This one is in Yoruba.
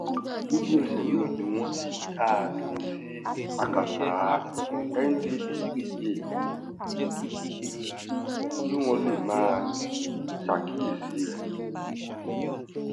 lójú-ẹsẹ̀ náà ni wọ́n ti dá a dúró sí akátá ndtea kí wọ́n lè máa ṣàkíyèsí rẹ̀